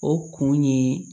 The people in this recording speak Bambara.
O kun ye